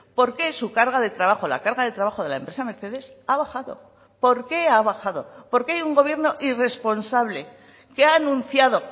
porqué su carga de trabajo la carga de trabajo de la empresa mercedes ha bajado porqué ha bajado porque hay un gobierno irresponsable que ha anunciado